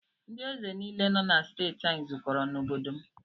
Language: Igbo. Ndị ézè nile nọ na steeti anyị zụkọrọ na obodo m.